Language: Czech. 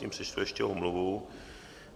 Mezitím přečtu ještě omluvu.